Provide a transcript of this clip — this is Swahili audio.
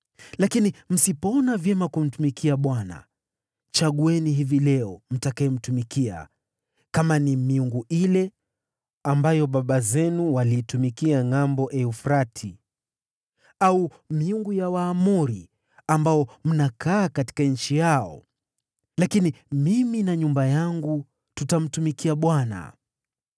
Lakini msipoona vyema kumtumikia Bwana , chagueni hivi leo mtakayemtumikia, kama ni miungu ile ambayo baba zenu waliitumikia ngʼambo Frati, au miungu ya Waamori, ambao mnakaa katika nchi yao. Lakini mimi na nyumba yangu, tutamtumikia Bwana .”